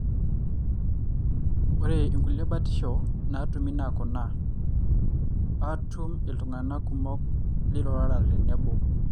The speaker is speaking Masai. ore inkulie batisho natumi na kuna. atum iltungana kumok lirurara tenebo.